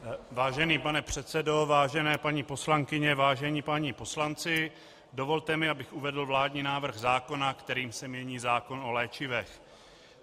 Vážený pane předsedo, vážené paní poslankyně, vážení páni poslanci, dovolte mi, abych uvedl vládní návrh zákona, kterým se mění zákon o léčivech.